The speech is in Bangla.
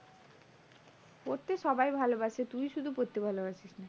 পড়তে সবাই ভালবাসে তুই শুধু পড়তে ভালোবাসিস না।